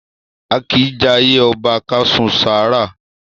A kìí jayé ọba ká su sára.